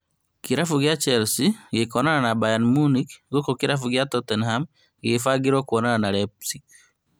Kĩrabu kĩa Chelsea gĩkonana na Bayern Munich gũkũ kĩrabu gĩa Tottenham gĩgĩbangĩrwo kwonana na RB Leipzig